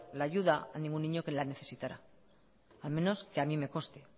la ayuda a ningún niño que la necesitara al menos que a mí me conste